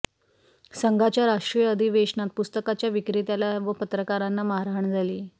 संघाच्या राष्ट्रीय अधिवेशनात पुस्तकाच्या विक्रेत्याला व पत्रकारांना मारहाण झाली